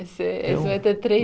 Esse esse vai ter três.